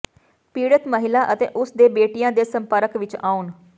ਪੀੜਤ ਮਹਿਲਾ ਅਤੇ ਉਸਦੇ ਬੇਟਿਆ ਦੇ ਸੰਪਰਕ ਵਿਚ ਆਉਣ